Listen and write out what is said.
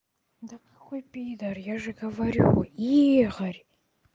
да какой пидар я же говорю и игорь